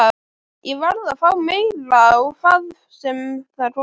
Ég varð að fá meira, hvað sem það kostaði.